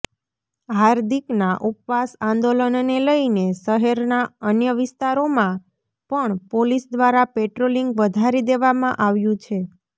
હાર્દિકના ઉપવાસ આંદોલનને લઈને શહેરના અન્ય વિસ્તારોમાં પણ પોલીસ દ્વારા પેટ્રોલિંગ વધારી દેવામાં આવ્યું છે